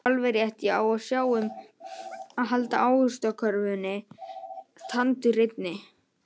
Já alveg rétt, ég á að sjá um að halda ávaxtakörfunni tandurhreinni